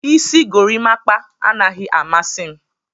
Isi gorimapa anaghị amasị m.